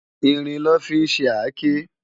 Irin lò fi n ṣé àké